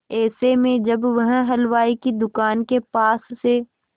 ऐसे में जब वह हलवाई की दुकान के पास से